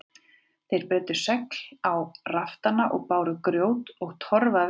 Þeir breiddu segl á raftana og báru grjót og torf að veggjum.